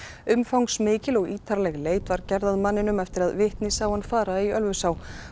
umfangsmikil og ítarleg leit var gerð að manninum eftir að vitni sá hann fara í Ölfusá